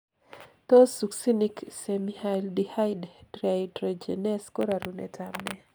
Tos succinic semialdehyde dehydrogenase ko rarunetab nee